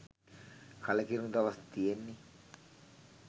කලකිරුණු දවස් තියෙන්නේ